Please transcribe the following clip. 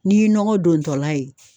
N'i ye nɔgɔ dontɔla ye